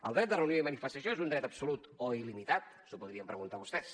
el dret de reunió i manifestació és un dret absolut o il·limitat s’ho podrien preguntar vostès